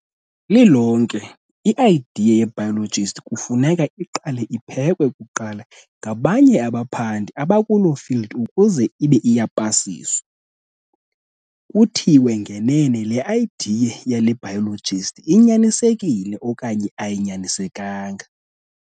Lilonke i-idea yebiologist kufuneka iqale iphekwe kuqala ngabanye abaphandi abakuloo field ukuze ibe iyapasiswa, kuthiwe ngenene le "idea" yale biologist inyanisekile okanye ayinyanisekanga.